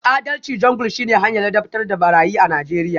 Adalci Jungle shine hanyar ladabtar da barayi a Najeriya